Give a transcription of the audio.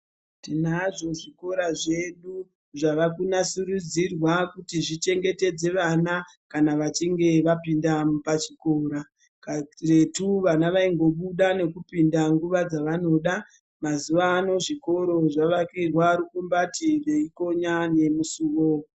Kuretu vana vaingobuda nekupinda pananoda. Tinazvo zvikota zvedu zvava kunasurudziirwa